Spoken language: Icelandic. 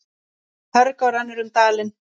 Hörgá rennur um dalinn.